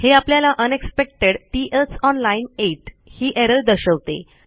हे आपल्याला unexpected T else on line 8 ही एरर दर्शवते